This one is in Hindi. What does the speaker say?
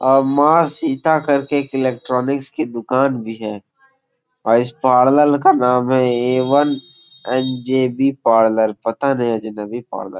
औ माँ सीता करके एक इलेक्ट्रॉनिक्स की दुकान बी है और आ इस पारलर का नाम है A one N J B parlour पता नहीं अजनवी पार्लर --